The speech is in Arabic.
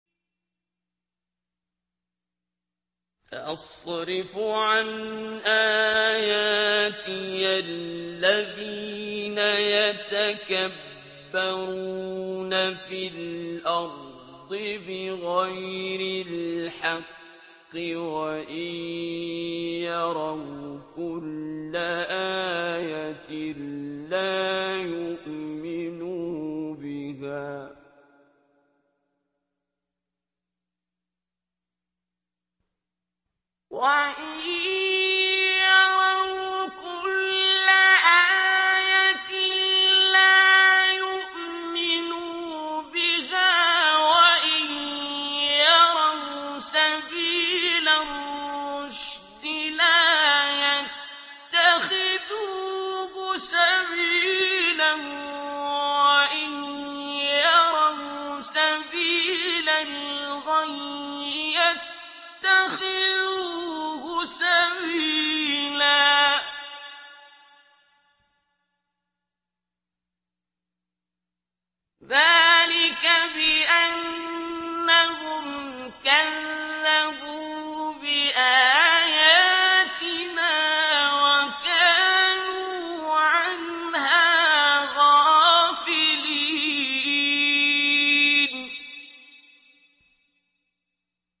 سَأَصْرِفُ عَنْ آيَاتِيَ الَّذِينَ يَتَكَبَّرُونَ فِي الْأَرْضِ بِغَيْرِ الْحَقِّ وَإِن يَرَوْا كُلَّ آيَةٍ لَّا يُؤْمِنُوا بِهَا وَإِن يَرَوْا سَبِيلَ الرُّشْدِ لَا يَتَّخِذُوهُ سَبِيلًا وَإِن يَرَوْا سَبِيلَ الْغَيِّ يَتَّخِذُوهُ سَبِيلًا ۚ ذَٰلِكَ بِأَنَّهُمْ كَذَّبُوا بِآيَاتِنَا وَكَانُوا عَنْهَا غَافِلِينَ